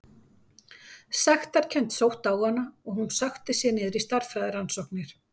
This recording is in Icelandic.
Sektarkennd sótti á hana og hún sökkti sér niður stærðfræðirannsóknir.